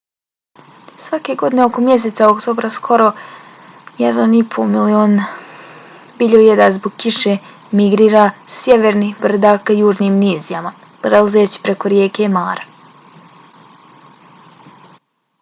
svake godine oko mjeseca oktobra skoro 1,5 milion biljojeda zbog kiše migrira sa sjevernih brda ka južnim nizijama prelazeći preko rijeke mara